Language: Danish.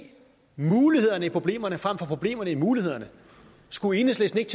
mulighederne i problemerne frem for problemerne i mulighederne skulle enhedslisten ikke